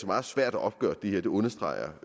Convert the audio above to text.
meget svært at opgøre det her det understreger